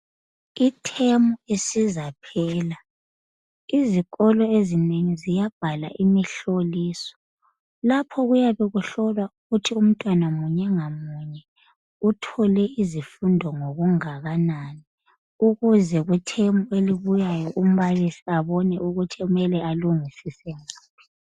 Ithemu isizaphela, izikolo ezinengi ziyabhala imihloliso. Lapho oyabe ukuhlolwa ukuthi umntwana munye ngamuye uthole izifundo ngokanani. Ukuze kuthemu elibuyayo umbalisi abone ukuthi kumele alungisise ngaphi.